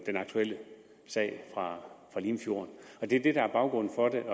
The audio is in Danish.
den aktuelle sag fra limfjorden det er det der er baggrunden for det